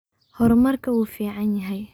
Hormarka uuficnyahaye.